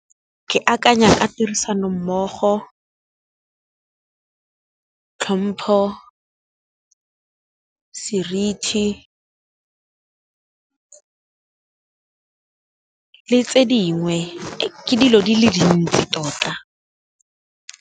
Ke akanya ka tirisano mmogo, tlhompho, seriti le tse dingwe ke dilo di le dintsi tota.